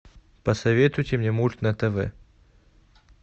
посоветуйте мне мульт на тв